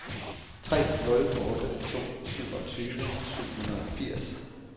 tre nul otte to syvogtyve syv hundrede og firs